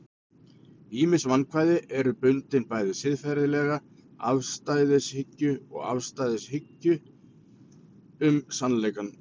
ýmis vandkvæði eru bundin bæði siðferðilegri afstæðishyggju og afstæðishyggju um sannleikann